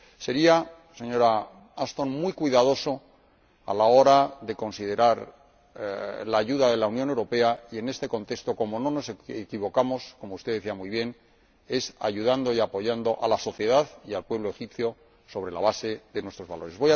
Sería, señora Ashton, muy cuidadoso a la hora de considerar la ayuda de la Unión Europea y, en este contexto, como no nos equivocamos, como usted decía muy bien, es ayudando y apoyando a la sociedad y al pueblo egipcio sobre la base de nuestros valores.